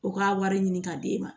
U ka wari ɲini ka d'e ma